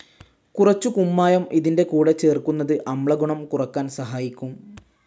കുറച്ചു കുമ്മായം ഇതിന്റെ കൂടെ ചേർക്കുന്നത് അമ്ലഗുണം കുറക്കാൻ സഹായിക്കും.